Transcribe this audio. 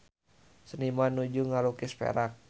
Seniman nuju ngalukis Perak